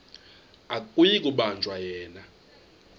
akuyi kubanjwa yena